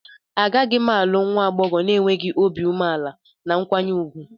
Agaghị m alụ nwa agbọghọ na-enweghị obi umeala na nkwanye ùgwù.